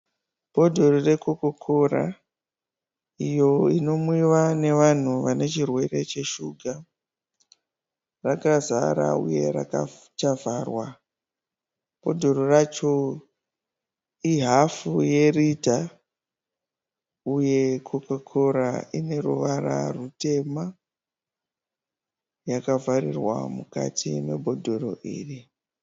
Bhodhoro rekokora iyo inomwiwa nevanhu vane chirwe cheshuga. Rakazara uye rakavharwa. Bhodhoro racho ihafu yerita uye kokora ineruvara rutema yakavharirwa mukati mebhodhoro iri.